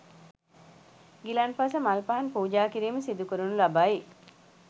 ගිලන්පස මල් පහන් පූජාකිරීම සිදුකරනු ලබයි.